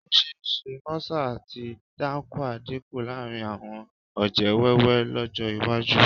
Ó ṣe é ṣe mọ́sà àti dáńkúà dínkù láàrin àwọn ọ̀jẹ̀ wẹ́wẹ́ lọ́jọ́ iwájú